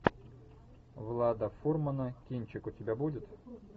влада фурмана кинчик у тебя будет